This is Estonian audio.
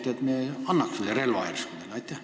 Järsku me annaks teile selle relva.